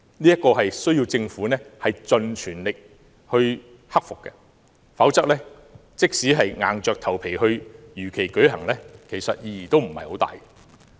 這需要政府盡全力克服，否則，即使硬着頭皮如期舉行，其實意義不大。